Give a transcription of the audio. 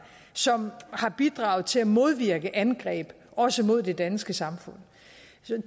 som har bidraget til at modvirke angreb også mod det danske samfund